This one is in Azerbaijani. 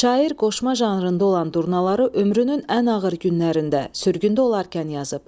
Şair qoşma janrında olan durnaları ömrünün ən ağır günlərində, sürgündə olarkən yazıb.